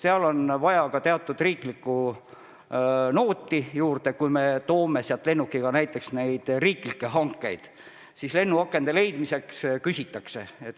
Seal on vaja ka teatud riiklikku nooti juurde: kui me toome sealt lennukiga riikliku hanke korras tellitud kaupa, siis leitakse lennuaknaid kergemini.